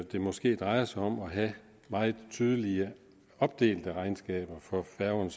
det måske drejer sig om at have meget tydeligt opdelte regnskaber for færgerne